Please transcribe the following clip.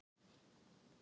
Þetta töluvert af pappír